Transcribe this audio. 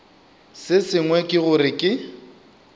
se sengwe ke gore ke